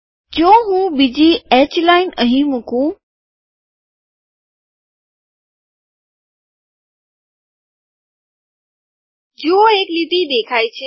જો હું બીજી આડી લીટી અહીં મુકું જુઓ એક લીટી દેખાય છે